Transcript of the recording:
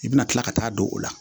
I bɛna tila ka taa don o la